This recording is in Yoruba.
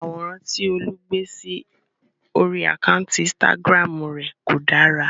Àwòrán tí Olú gbé sí orí àkántì Instagram rè kò dára.